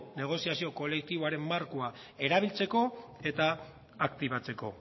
negoziazio kolektiboaren markoa erabiltzeko eta aktibatzeko